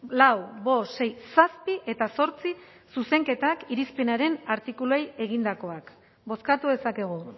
lau bost sei zazpi eta zortzi zuzenketak irizpenaren artikuluei egindakoak bozkatu dezakegu